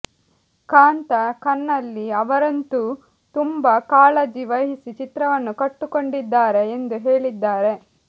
ಕಾಂತ ಕನ್ನಲ್ಲಿ ಅವರಂತೂ ತುಂಬಾ ಕಾಳಜಿ ವಹಿಸಿ ಚಿತ್ರವನ್ನು ಕಟ್ಟುಕೊಟ್ಟಿದ್ದಾರೆ ಎಂದು ಹೇಳಿದ್ದಾರೆ